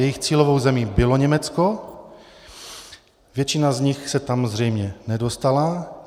Jejich cílovou zemí bylo Německo, většina z nich se tam zřejmě nedostala.